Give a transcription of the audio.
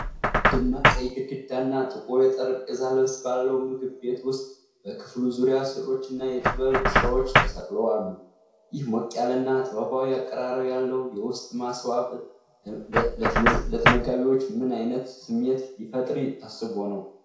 ደማቅ ቀይ ግድግዳና ጥቁር የጠረጴዛ ልብስ ባለው ምግብ ቤት ውስጥ፣ በክፍሉ ዙሪያ ሥዕሎችና የጥበብ ሥራዎች ተሰቅለው አሉ፤ ይህ ሞቅ ያለና ጥበባዊ አቀራረብ ያለው የውስጥ ማስዋብ ለተመጋቢዎች ምን ዓይነት ስሜት ለመፍጠር ታስቦ ነው?